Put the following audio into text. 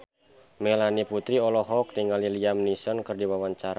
Melanie Putri olohok ningali Liam Neeson keur diwawancara